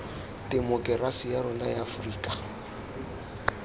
temokerasi ya rona ya aforika